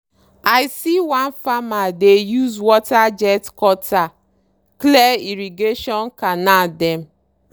i see one farmer dey use water jet cutter clear irrigation canal dem.